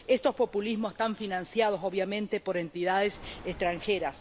Estos populismos están financiados, obviamente, por entidades extranjeras.